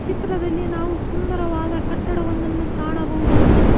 ಚಿತ್ರದಲ್ಲಿ ನಾವು ಸುಂದರವಾದ ಕಟ್ಟಡವನ್ನು ಒಂದನ್ನು ಕಾಣಬಹುದಾಗಿದೆ.